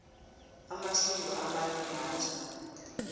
amasiko amanye matjha